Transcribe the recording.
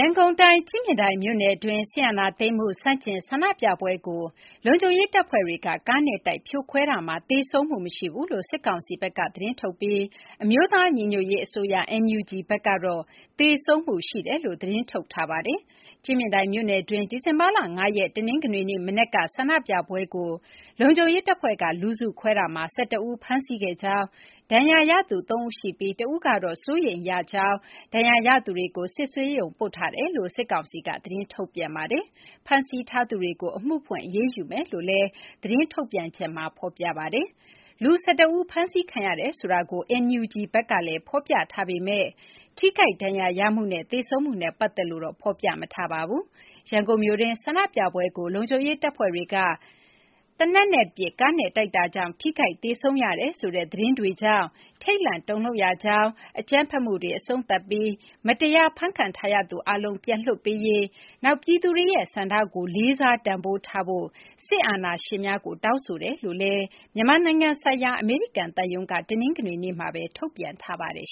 န်ကုန်တိုင်း ကြည့်မြင်တိုင်မြို့နယ်တွင်း စစ်အာဏာသိမ်းမှု ဆန့်ကျင် ဆန္ဒပြပွဲကို လုံခြုံရေးတပ်ဖွဲ့တွေက ကားနဲ့တိုက် ဖြိုခွဲခဲ့မှုမှာ သေဆုံးမှုမရှိဘူးလို့ စစ်ကောင်စီဘက်က သတင်းထုတ်ပြန်ပြီး အမျိုးသားညီညွတ်ရေးအစိုးရ (NUG) ဘက်ကတော့ သေဆုံးမှုရှိကြောင်း သတင်းထုတ်ထားပါတယ်။ ကြည့်မြင်တိုင်မြို့နယ်တွင်း ဒီဇင်ဘာလ ၅ ရက် တနင်္ဂနွေနေ့ မနက်က ဆန္ဒပြပွဲကို လုံခြုံရေးတပ်ဖွဲ့က လူစုခွဲတာမှာ ၁၁ ဦး ဖမ်းဆီးခဲ့ကြောင်း၊ ဒဏ်ရာရသူ ၃ ဦးရှိပြီး တဦးက အသက်အန္တရာယ် စိုးရိမ်ရတဲ့ဒဏ်ရာ ရထားကြောင်း၊ ဒဏ်ရာရသူတွေကို စစ်ဆေးရုံပို့ထားကြောင်း စစ်ကောင်စီက သတင်းထုတ်ပါတယ်။ ဖမ်းဆီးထားသူတွေကို အမှုဖွင့် အရေးယူမယ်လို့လည်း စစ်ကောင်စီက သတင်းထုတ်ပါတယ်။ လူ ၁၁ ဦး ဖမ်းဆီးခံရတယ်ဆိုတာကို NUG ဘက်ကလည်း ဖော်ပြထားပေမယ့် ထိခိုက်ဒဏ်ရာရမှုနဲ့ သေဆုံးမှုနဲ့ ပတ်သက်လို့တော့ ဖော်ပြမထားပါဘူး။ ရန်ကုန်မြို့တွင်း ဆန္ဒပြပွဲကို လုံခြုံရေးတပ်ဖွဲ့တွေက သေနတ်နဲ့ပစ်၊ ကားနဲ့တိုက်တာကြောင့် ထိခိုက်သေဆုံးရတယ်ဆိုတဲ့ သတင်းတွေကြောင့် ထိတ်လန့်တုန်လှုပ်ရကြောင်း၊ အကြမ်းဖက်မှုတွေ အဆုံးသတ်ပြီး မတရား ဖမ်းခံထားရသူအားလုံး ပြန်လွှတ်ပေးရေး၊ နောက် ပြည်သူတွေရဲ့ ဆန္ဒကို လေးစား တန်ဖိုးထားဖို့ စစ်အာဏာရှင်များကို တောင်းဆိုကြောင်းလည်း မြန်မာနိုင်ငံဆိုင်ရာ အမေရိကန်သံရုံးက ထုတ်ပြန်ထားပါတယ်